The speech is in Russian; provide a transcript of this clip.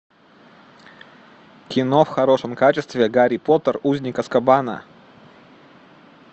кино в хорошем качестве гарри поттер узник азкабана